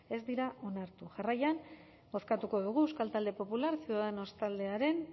ez dira onartu jarraian bozkatuko dugu euskal talde popularra ciudadanos taldearen